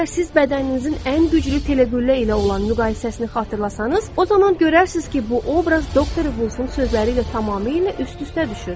Əgər siz bədəninizin ən güclü teleqüllə ilə olan müqayisəsini xatırlasanız, o zaman görərsiniz ki, bu obraz doktor Volfun sözləri ilə tamamilə üst-üstə düşür.